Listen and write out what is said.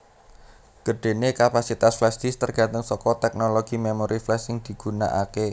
Gedhenè kapasitas flashdisk tergantung saka teknologi memori flash sing digunakakè